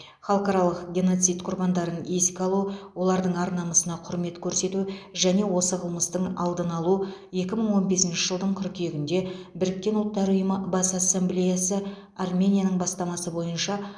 халықаралық геноцид құрбандарын еске алу олардың ар намысына құрмет көрсету және осы қылмыстың алдын алу екі мың он бесінші жылдың қыркүйегінде біріккен ұлттар ұйымы бас ассамблеясы арменияның бастамасы бойынша